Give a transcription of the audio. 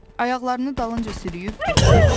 Ayaqlarını dalınca sürütdüyüb getdi.